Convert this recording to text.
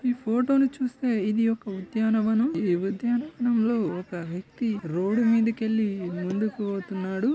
ఈ ఫోటో ని చూస్తే ఇధి ఒక ఉద్యానవనం ఈ ఉద్యనవనం లో ఒక వ్యక్తి రోడ్డు మీదకెళ్ళి ముందుకి పోతున్నాడు.